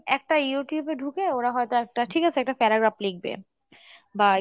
একটা Youtube এ ঢুকে ওরা হয়তো একটা ঠিক আছে একটা paragraph লিখবে বা